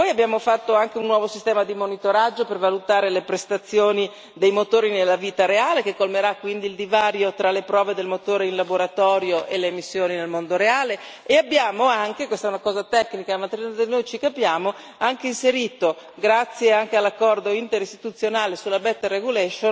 Poi abbiamo introdotto anche un nuovo sistema di monitoraggio per valutare le prestazioni dei motori nella vita reale, che colmerà quindi il divario tra le prove del motore in laboratorio e le emissioni nel mondo reale, e abbiamo anche inserito questa è una cosa tecnica, ma tra di noi ci capiamo grazie anche all'accordo interistituzionale Legiferare meglio,